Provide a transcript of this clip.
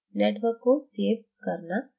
network को save करना